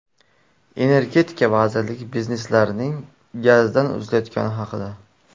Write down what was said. Energetika vazirligi bizneslarning gazdan uzilayotgani haqida.